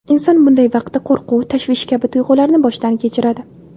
Inson bunday vaqtda qo‘rquv, tashvish kabi tuyg‘ularni boshdan kechiradi.